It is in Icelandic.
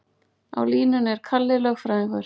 Á línunni er Kalli lögfræðingur.